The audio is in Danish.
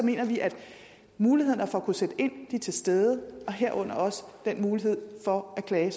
vi at mulighederne for at kunne sætte ind er til stede herunder også den mulighed for at klage